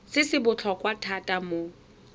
se se botlhokwa thata mo